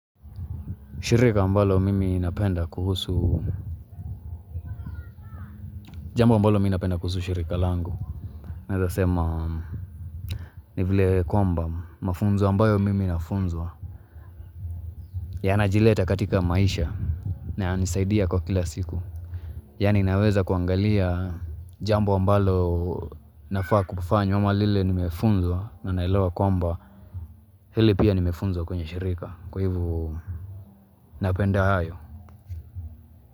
Shirika ambalo mimi napenda kuhusu Jambo ambalo mimi napenda kuhusu shirika langu naezasema ni vile kwamba mafunzo ambayo mimi nafunzwa Yanajileta katika maisha na yanisaidia kwa kila siku Yaani naweza kuangalia jambo ambalo nafaa kufanya ama lile nimefunzwa na naelewa kwamba hili pia nimefunzwa kwenye shirika Kwa hivo napenda hayo.